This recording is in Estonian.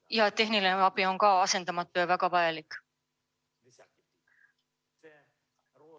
Ka tehniline abi on asendamatu ja väga vajalik.